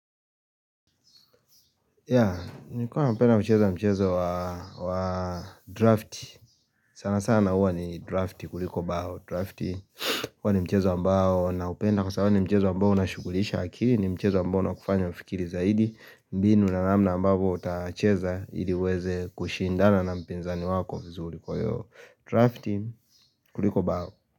Ya, nikuwa napenda kucheza mchezo wa draft, sana sana huwa ni draft kuliko bao draft huwa ni mchezo ambao naupenda kwa sababu ni mchezo ambao unashukulisha akili ni mchezo ambao unakufanya ufikiri zaidi mbinu na namna ambavyo utacheza ili uweze kushindana na mpinzani wako vizuri kwa hiyo draft kuliko bao.